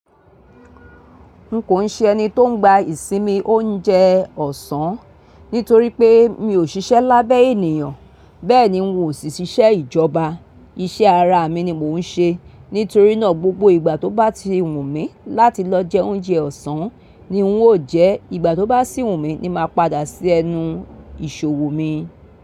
N kò ń ṣe ẹni tó ń gba ìsinmi oúnjẹ ọ̀sán nítorí pé mi ò ṣiṣẹ́ lábẹ́ ènìyàn, bẹ́ẹ̀ni n ò sì ṣiṣẹ́ ìjọba. Iṣẹ́ ara mi ni mò ń ṣe, nítorí náà gbogbo ìgbà tó bá ti wù mí láti lọ jẹ oúnjẹ ọ̀sán ni ń ó jẹ́. Ìgbà tó bá sì wù mí ni ma padà sí ẹnu ìṣòwò mi.